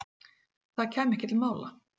Það kæmi ekki til mála.